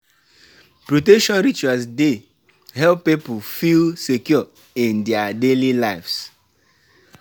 Pipo dey perform um rituals to honor ancestral spirits um and seek dia um guidance.